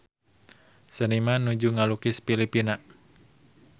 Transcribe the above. Seniman nuju ngalukis Filipina